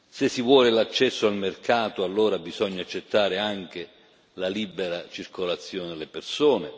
Se si vuole l'accesso al mercato, allora bisogna accettare anche la libera circolazione delle persone.